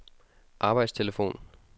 arbejdstelefon